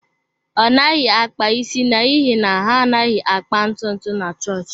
Ọ naghị akpa isi n’ihi na ha anaghị akpa ntutu na chọọchị.